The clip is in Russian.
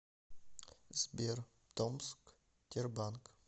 сбер томск тербанк